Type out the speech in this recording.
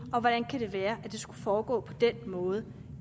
og hvordan kan det være at det skulle foregå på den måde